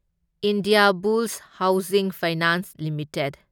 Indiabulls housing finance limited